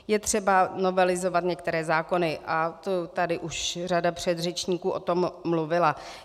Je třeba novelizovat některé zákony, to tady už řada předřečníků o tom mluvila.